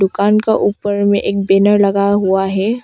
दुकान का ऊपर में एक बैनर लगा हुआ है।